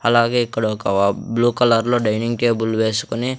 అలాగే ఇక్కడ ఒక బ్లూ కలర్ లో డైనింగ్ టేబుల్ వేసుకుని --